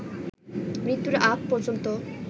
মৃত্যুর আগ পর্যন্ত